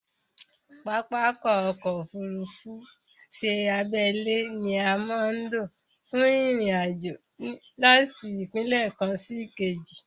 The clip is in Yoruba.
Pápákọ̀ ọ̀kọ òfurufú ti abẹ́lé ni a má ń lò fún ìrìn àjò láti ìpínlẹ̀ kan sí ìkejì